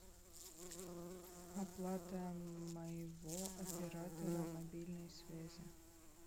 оплата моего оператора мобильной связи